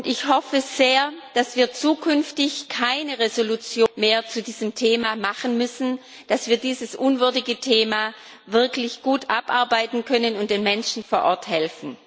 Ich hoffe sehr, dass wir zukünftig keine Entschließung mehr zu diesem Thema machen müssen, dass wir dieses unwürdige Thema wirklich gut abarbeiten und den Menschen vor Ort helfen können.